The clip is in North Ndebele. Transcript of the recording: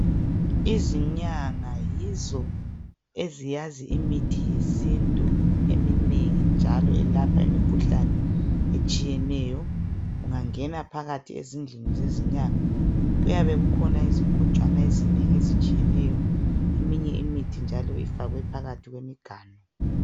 Izinyanga yizo ezazi imithi yesintu eminengi njalo eyalapha imikhuhlane etshiyeneyo. Ungangena phakathi ezindlini zezinyanga kuyabe kukhona izigojwana ezinengi ezitshiyeneyo, eminye imithi njalo ifakwe phakathi kwemiganu.